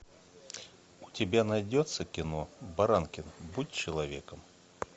у тебя найдется кино баранкин будь человеком